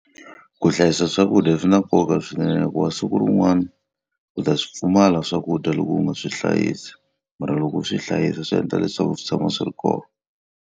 Ku hlayisa swakudya swi na nkoka swinene hikuva siku rin'wana u ta swi pfumala swakudya loko u nga swi hlayisi. Mara loko u swi hlayisa swi endla leswaku swi tshama swi ri kona.